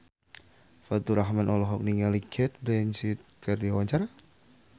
Faturrahman olohok ningali Cate Blanchett keur diwawancara